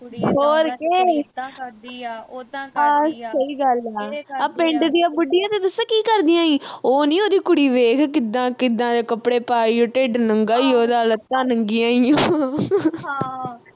ਆਹ ਪਿੰਡ ਦੀਆਂ ਬੁੱਢੀਆਂ ਤਾ ਦੱਸਾਂ ਕੀ ਕਰਦੀਆਂ ਈ ਉਹ ਨੀ ਉਹ ਦੀ ਕੁੜੀ ਵੇਖ ਕਿੱਦਾਂ ਕਿੱਦਾਂ ਦੇ ਕੱਪੜੇ ਪਾਏ ਉਹ ਢਿੱਡ ਨੰਗਾ ਈ ਓਹਦਾ ਲਁਤਾਂ ਨੰਗੀਆਂ ਈ